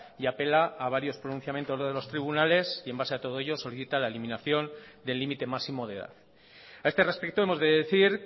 y apela a varios pronunciamientos de los tribunales y en base a todo ello solicita la eliminación del límite máximo de edad a este respecto hemos de decir